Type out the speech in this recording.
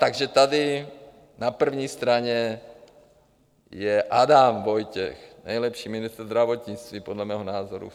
Takže tady na první straně je Adam Vojtěch, nejlepší ministr zdravotnictví podle mého názoru.